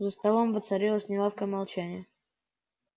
за столом воцарилось неловкое молчание